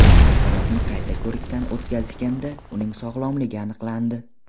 Chaqaloqni qayta ko‘rikdan o‘tkazishganda, uning sog‘lomligi aniqlandi.